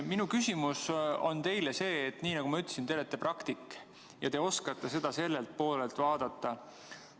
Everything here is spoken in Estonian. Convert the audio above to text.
Nii nagu ma ütlesin, te olete praktik ja te oskate seda sellelt poolelt vaadata.